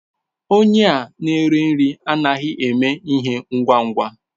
Onye a nere nri anaghị eme ihe ngwa ngwa.